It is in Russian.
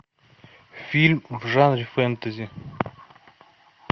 фильм в жанре фэнтези